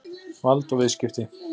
Vald og viðskipti.